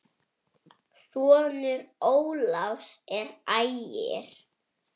Sonur Ólafs er Ægir.